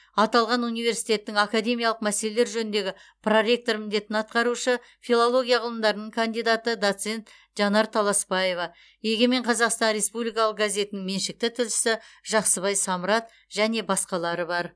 аталған университеттің академиялық мәселелер жөніндегі проректор міндетін атқарушы филология ғылымдарының кандидаты доцент жанар таласпаева егемен қазақстан республикалық газетінің меншікті тілшісі жақсыбай самрат және басқалары бар